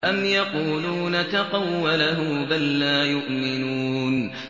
أَمْ يَقُولُونَ تَقَوَّلَهُ ۚ بَل لَّا يُؤْمِنُونَ